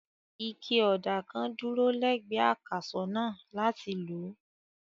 Ike ọ̀dà kan dúró lẹ́gbẹ̀ẹ́ akàsọ̀ náà láti lò.